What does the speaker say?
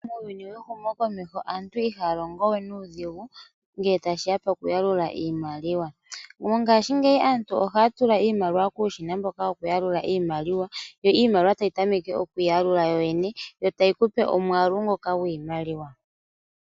Muuyuni wehumo komeho aantu ihaalongowe nuudhigu ngee tashiya pokuyalula iimaliwa. Mongaashingeyi aantu ohaatula iimaliwa kuushina mboka hauyalula iimaliwa, yo iimaliwa tayitameke okwiiyalula yoyene yo tayikupe omwaalu ngoka gwiimaliwa.